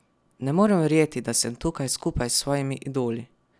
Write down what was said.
Ne morem verjeti, da sem tukaj skupaj s svojimi idoli.